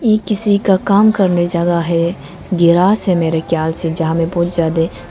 ये किसी का काम करने जगह है गिरास है मेरे ख्याल से जहा मे बहुत ज्यादे --